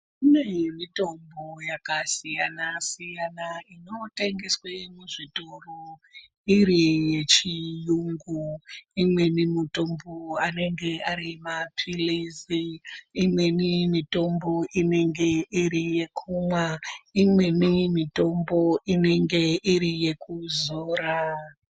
Kune mitombo yaka siyana siyana ino tengeswe mu zvitoro iri ye chiyungu imweni mutombo anenge ari mapilizi imweni mitombo inenge iri yekumwa imweni mitombo inenge iri yeku zora.